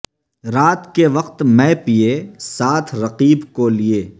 رات کے وقت مے پئے ساتھ رقیب کو لئے